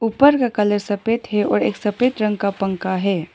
ऊपर का कलर सफेद है और एक सफेद रंग का पंखा है।